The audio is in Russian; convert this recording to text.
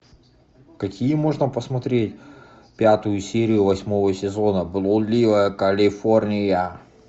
какие можно посмотреть пятую серию восьмого сезона блудливая калифорния